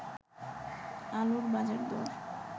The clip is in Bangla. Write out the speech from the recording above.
আলুর বাজারদর